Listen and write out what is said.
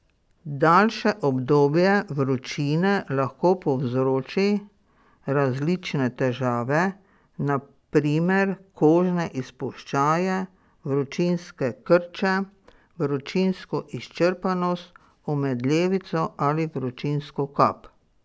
Daljše obdobje vročine lahko povzroči različne težave, na primer kožne izpuščaje, vročinske krče, vročinsko izčrpanost, omedlevico ali vročinsko kap.